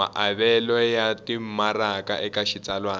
maavelo ya timaraka eka xitsalwana